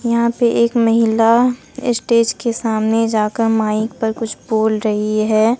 यहां पे एक महिला स्टेज के सामने जाकर माइक पर कुछ बोल रही है।